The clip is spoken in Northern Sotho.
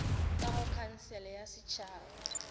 ka go khansele ya setšhaba